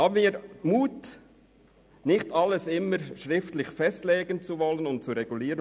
Haben wir den Mut, nicht stets alle Eventualitäten schriftlich festzulegen und zu regulieren!